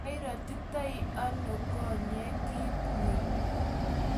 mairotiteano konye kiit ni?